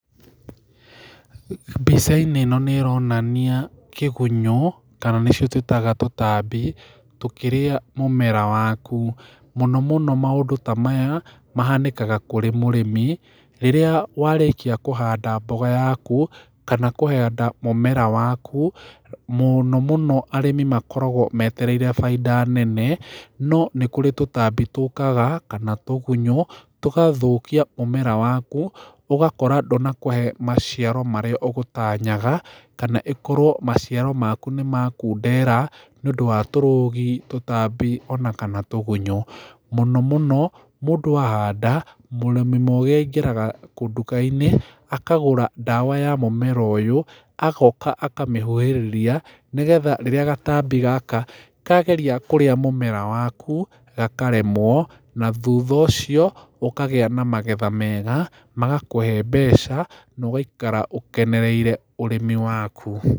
Mbica-inĩ ĩno nĩ ĩronania kĩgunyũ kana nĩcio tũĩtaga tũtambi tũkĩrĩa mũmera waku, mũno mũno maũndũ ta maya mahanĩkaga kũrĩ mũrĩmi rĩrĩa warĩkia kũhanda mboga yaku kana kũhanda mũmera waku mũno mũno arĩmi makoragwo metereire bainda nene no nĩkũrĩ tũtambi tũkaga kana tũgunyũ tũgathũkia mũmera waku ũgakora ndũnakũhe maciaro maria ũgũtanyaga kana ĩkorwo maciaro maku nĩmakundera nĩũndũ wa tũrũgi ,tũtambi, ona kana tũgunyũ mũno mũno mũndũ ahanda mũrĩmi mũgĩ aingĩraga nduka-inĩ akagũra ndawa ya mũmera ũyũ agoka akamĩhuhĩrĩria nĩgetha rĩrĩa gatambi gaka kageria kũrĩa mũmera waku gakaremwo na thutha ũcio gũkagĩa na magetha mega magakũhe mbeca na ũgaikara ũkenereire ũrĩmi waku.